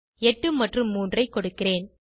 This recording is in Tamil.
8 மற்றும் 3 ஐ கொடுக்கிறேன்